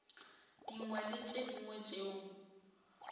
dingwe le tše dingwe tšeo